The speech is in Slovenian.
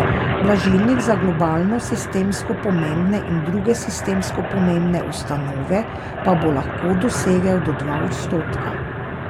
Blažilnik za globalno sistemsko pomembne in druge sistemsko pomembne ustanove pa bo lahko dosegel do dva odstotka.